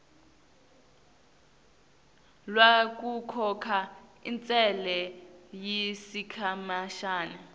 lwekukhokha intsela yesikhashana